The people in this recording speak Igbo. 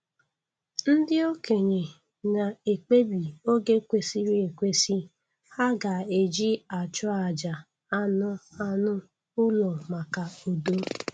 Ndị okenye na-ekpebi oge kwesịrị ekwesị ha ga-eji achụ àjà anụ anụ ụlọ maka udo.